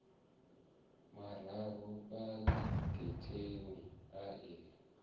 mararu fhala getheni a i